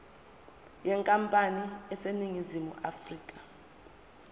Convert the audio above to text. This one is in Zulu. yenkampani eseningizimu afrika